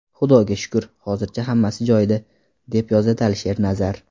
Xudoga shukr, hozircha hammasi joyida”, deb yozadi Alisher Nazar.